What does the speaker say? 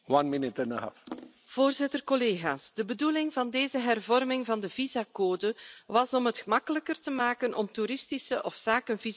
Voorzitter, collega's, de bedoeling van deze hervorming van de visumcode was het gemakkelijker te maken om toeristische of zakenvisums aan te vragen.